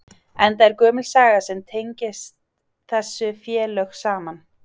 Enda er gömul saga sem tengist þessi félög saman?